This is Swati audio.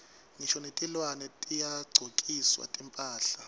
ngisho netilwane tiyagcokiswa timphahla